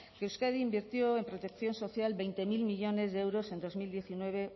que euskadi invirtió en protección social veinte mil millónes de euros en dos mil diecinueve